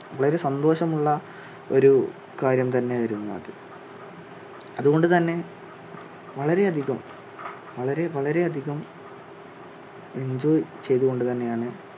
വളരെ സന്തോഷം ഉള്ള ഒരു കാര്യം തന്നെ ആയിരുന്നു അത് അതുകൊണ്ട് തന്നെ വളരെ അധികം വളരെ വളരെ അധികം enjoy ചെയ്തുകൊണ്ട് തന്നെ ആണ്